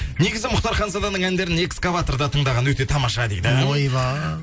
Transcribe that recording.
негізі мұхтар ханзаданың әндерін экскаваторда тыңдаған өте тамаша дейді ойбай